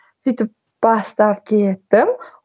сөйтіп бастап кеттім